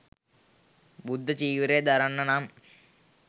බුද්ධ චීවරය දරන්න නම්,